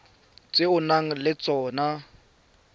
tse o nang le tsona